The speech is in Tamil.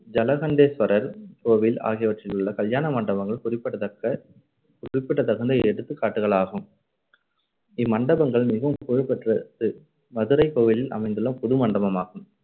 ஜலகண்டேஸ்வரர் கோவில் ஆகியவற்றிலுள்ள கல்யாண மண்டபங்கள் குறிப்பிடத்தக்க குறிப்பிடத்தகுந்த எடுத்துக்காட்டுகள் ஆகும் இம்மண்டபங்கள் மிகவும் புகழ்பெற்றது மதுரை கோவிலில் அமைந்துள்ள புதுமண்டபமாகும்.